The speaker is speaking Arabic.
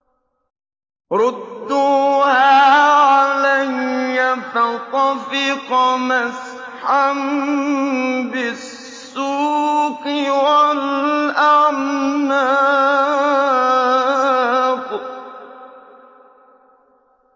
رُدُّوهَا عَلَيَّ ۖ فَطَفِقَ مَسْحًا بِالسُّوقِ وَالْأَعْنَاقِ